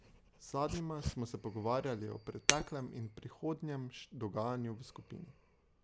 Z zadnjima smo se pogovarjali o preteklem in prihodnjem dogajanju v skupini.